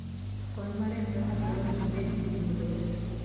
kony mar mpesa dwaro ni ibedgi simb lwedo